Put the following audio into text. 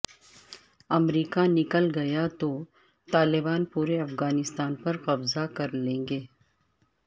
امریکہ نکل گیا تو طالبان پورے افغانستان پر قبضہ کرلیں گے